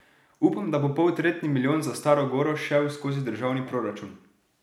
Upam, da bo poltretji milijon za Staro goro šel skozi državni proračun.